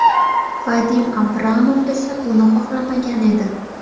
Vadim Abramov esa buni xohlamagan edi.